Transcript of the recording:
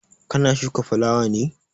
Ka na shuka fulawa ne?